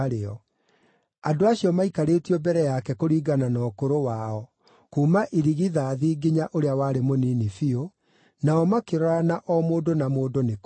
Andũ acio maaikarĩtio mbere yake kũringana na ũkũrũ wao, kuuma irigithathi nginya ũrĩa warĩ mũnini biũ; nao makĩrorana o mũndũ na mũndũ nĩ kũgega.